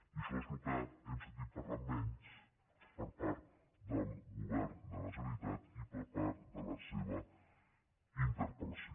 i d’això és del que hem sentit parlar menys per part del govern de la generalitat i per part de la seva interpel·lació